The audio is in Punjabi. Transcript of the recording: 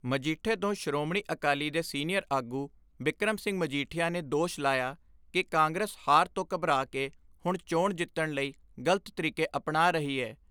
ਮਜੀਠੇ ਤੋਂ ਸ਼੍ਰੋਮਣੀ ਅਕਾਲੀ ਦੇ ਸੀਨੀਅਰ ਆਗੂ ਬਿਕਰਮ ਸਿੰਘ ਮਜੀਠਿਆ ਨੇ ਦੋਸ਼ ਲਾਇਆ ਕਿ ਕਾਂਗਰਸ ਹਾਰ ਤੋਂ ਘਬਰਾ ਕੇ ਹੁਣ ਚੋਣ ਜਿੱਤਣ ਲਈ ਗਲਤ ਤਰੀਕੇ ਅਪਨਾ ਰਹੀ ਏ।